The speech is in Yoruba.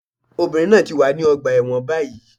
Obìnrin náà ti wà ní ọgbà ẹ̀wọ̀n báyìí